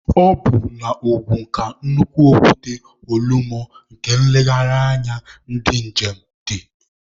Ọ bụ na Ogun ka nnukwu okwute Olumọ nke nlegharị anya ndi njem dị.